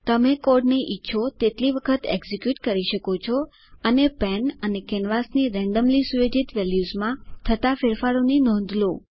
તમે કોડને ઈચ્છો તેટલી વખત એકઝીક્યુટ કરી શકો છો અને પેન અને કેનવાસની રેન્ડમલી સુયોજિત વેલ્યુઝમાં થતા ફેરફારોની નોંધ લો